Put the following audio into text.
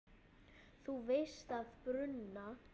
Þú veist að bruna